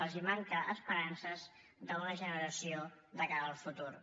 els manquen esperances d’una generació de cara al futur